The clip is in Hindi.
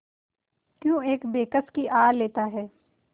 क्यों एक बेकस की आह लेता है